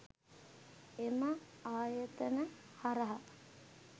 එම ආයතන හරහා